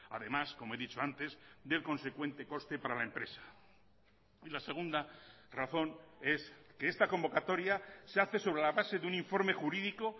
además como he dicho antes del consecuente coste para la empresa y la segunda razón es que esta convocatoria se hace sobre la base de un informe jurídico